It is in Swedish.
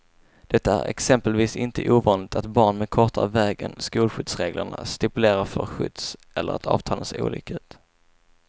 Det är exempelvis inte ovanligt att barn med kortare väg än skolskjutsreglerna stipulerar får skjuts eller att avtalen ser olika ut.